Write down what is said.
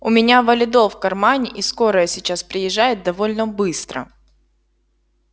у меня валидол в кармане и скорая сейчас приезжает довольно быстро